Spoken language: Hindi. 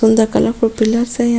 सुंदर कलरफूल के पिलर्स हैं यहां --